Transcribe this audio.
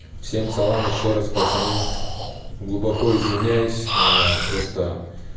всем салам ещё раз пацаны глубоко извиняюсь просто